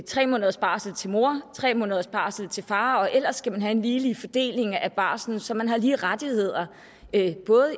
tre måneders barsel til mor og tre måneders barsel til far og ellers skal man have en ligelig fordeling af barslen så man både har lige rettigheder